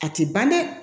A ti ban dɛ